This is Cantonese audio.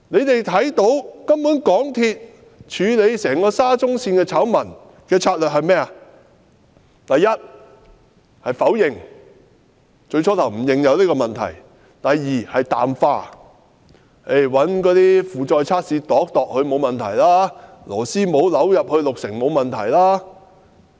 大家可見，根本港鐵公司處理整個沙中線醜聞的策略，第一，是否認，最初他們不承認有這些問題；第二，是淡化，進行那些荷載測試，量度一下，便說沒有問題，而螺絲帽已扭入六成，亦沒有問題。